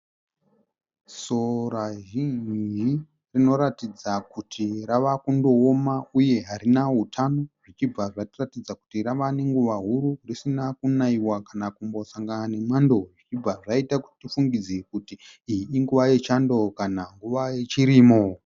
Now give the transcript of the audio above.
Sora zhinji rinoratidza kuti rava kundooma uye harina hutano zvichibva zvatiratidza kuti rava nenguva huru risina kunayiwa kana kumbosangana nemwando, zvichibva zvaita kuti tifungidzire kuti iyi inguva yechando kana nguva yechirimo.